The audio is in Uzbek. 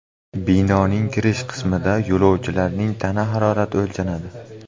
Binoning kirish qismida yo‘lovchilarning tana harorati o‘lchanadi.